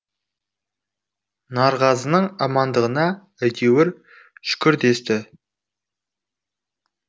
нарғазының амандығына әйтеуір шүкір десті